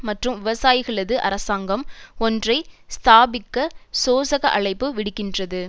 மற்றும் விவசாயிகளது அரசாங்கம் ஒன்றை ஸ்தாபிக்க சோசக அழைப்பு விடுக்கின்றது